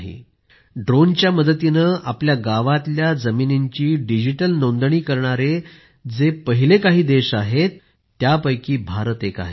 ज्या देशांनी ड्रोनच्या मदतीने आपल्या गावांतल्या जमिनींची डिजिटल नोंदणी करण्याचे काम करणारे जे पहिले काही देश आहेत त्यापैकीच भारत एक आहे